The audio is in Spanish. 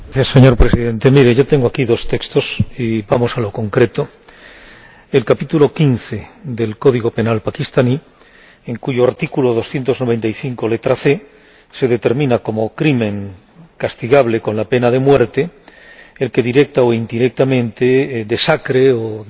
Señor Presidente, mire, yo tengo aquí dos textos y vamos a lo concreto el capítulo 15 del Código Penal pakistaní, en cuyo artículo 295, letra c, se determina como crimen castigable con la pena de muerte el que directa o indirectamente desacralice o